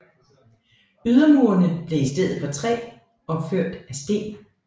Ydermurene blev i stedet for træ opført af sten